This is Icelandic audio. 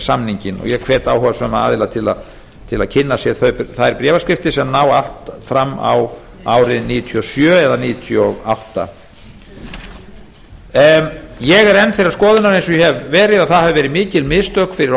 og ég hvet áhugasama aðila til að kynna sér þær bréfaskriftir sem ná allt fram á árið nítján hundruð níutíu og sjö eða nítján hundruð níutíu og átta ég er enn þeirrar skoðunar eins og ég hef verið að það hafi verið mikil mistök fyrir